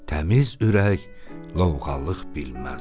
Təmiz ürək lovğalıq bilməz.